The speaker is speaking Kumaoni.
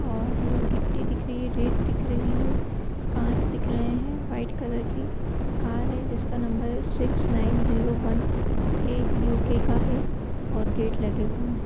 और गिट्टी दिख रही है गेट दिख रही है कांच दिख रहें हैं व्हाइट कलर की कार है जिसका नंबर है six nine zero one U K है और गेट लगे हुए हैं।